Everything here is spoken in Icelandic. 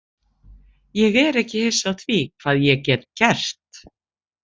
Ég er ekki hissa á því hvað ég get gert.